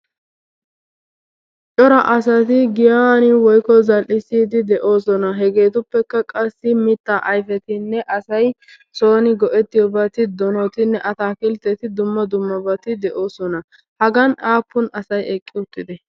Cora asati giyaan woykko zal''isside de'oosona. Hegeetuppekka qassi mitta ayfetinne asay soon go''ettiyoobati doonotinne atakiltteti dumma dummabati de'oosona, Hagan aappun asay eqqi uttidee?